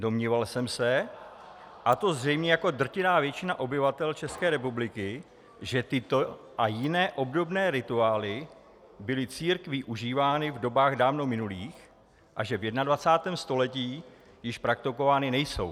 Domníval jsem se, a to zřejmě jako drtivá většina obyvatel České republiky, že tyto a jiné obdobné rituály byly církví užívány v dobách dávno minulých a že v 21. století již praktikovány nejsou.